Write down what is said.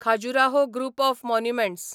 Khajuraho group of monuments